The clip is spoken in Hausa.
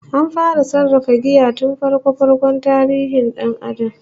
An fara sarrafa giya tun farko-farkon tarihin dan Adam